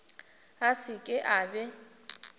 a se ke a be